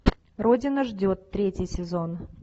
родина ждет третий сезон